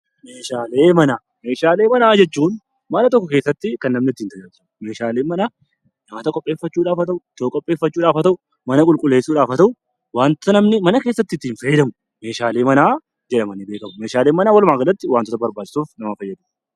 Meeshaalee manaa jechuun mana tokko keessatti kan namni ittiin tajaajilamu. Meeshaaleen manaa nyaata qopheeffachuudhaaf haa ta'u, ittoo qopheeffachuudhaaf haa ta'u, mana qulqulleessuudhaaf haa ta'u waanta namni mana keessatti ittiin fayyadamu meeshaalee manaa jedhamanii beekamu. Meeshaaleen manaa walumaagalatti waantota barbaachisuuf nama fayyadu.